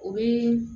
O bɛ